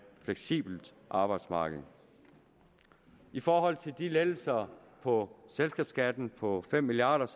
fleksibelt arbejdsmarked i forhold til de lettelser på selskabsskatten på fem milliard